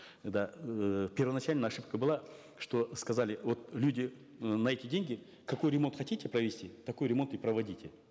да эээ первоначально ошибка была что сказали вот люди э на эти деньги какой ремонт хотите провести такой ремонт и проводите